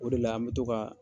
O de la an bɛ to ka